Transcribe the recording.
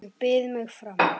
Ég býð mig fram.